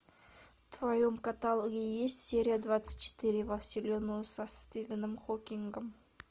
в твоем каталоге есть серия двадцать четыре во вселенную со стивеном хокингом